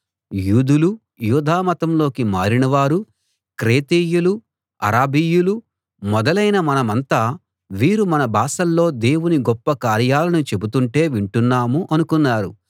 యూదులూ యూదామతంలోకి మారినవారూ క్రేతీయులూ అరబీయులూ మొదలైన మనమంతా వీరు మన భాషల్లో దేవుని గొప్ప కార్యాలను చెబుతుంటే వింటున్నాము అనుకున్నారు